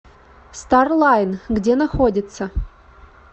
старлайн где находится